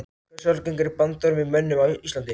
Hversu algengur er bandormur í mönnum á Íslandi?